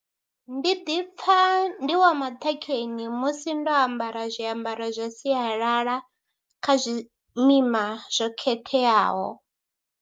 Ndi ḓi pfha ndi wa maṱhakheni musi ndo ambara zwiambaro zwa sialala kha zwimima zwo khetheaho.